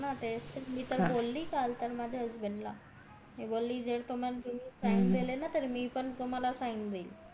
हो ना तेच तर मी त बोली काल त्याना husband ला मी बोली जर तुम्ही sign दिली ना तर मी पण तुम्हला sign देईल